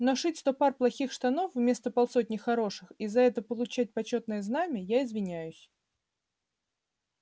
но шить сто пар плохих штанов вместо полсотни хороших и за это получать почётное знамя я извиняюсь